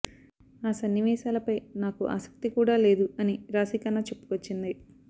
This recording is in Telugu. ఆ సన్నివేశాలపై నాకు ఆసక్తి కూడా లేదు అని రాశి ఖన్నా చెప్పుకొచ్చింది